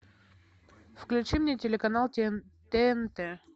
включи мне телеканал тнт